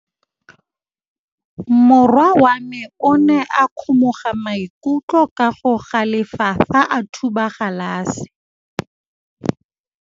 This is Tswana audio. Morwa wa me o ne a kgomoga maikutlo ka go galefa fa a thuba galase.